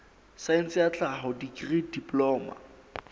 saense ya tlhaho dikri diploma